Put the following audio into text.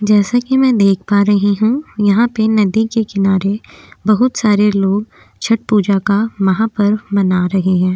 जैसा की मैं देख पा रहीं हूँ यहाँ पे नदी के किनारे बहुत सारे लोग छठ पूजा का माहापर्व मना रहे हैं।